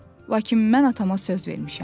Lakin mən atama söz vermişəm.